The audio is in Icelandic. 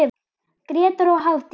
Grétar og Hafdís.